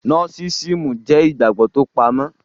Nósísíìmù jẹ́ ìgbàgbọ́ tó pamọ́,